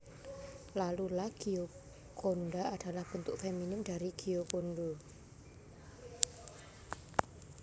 Lalu La Gioconda adalah bentuk feminin dari Giocondo